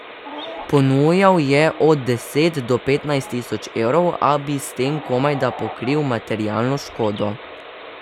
Ponujal je od deset do petnajst tisoč evrov, a bi s tem komajda pokril materialno škodo.